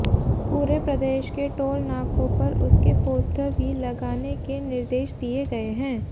पूरे प्रदेश के टोल नाकों पर उसके पोस्टर भी लगाने के निर्देश दिए गए हैं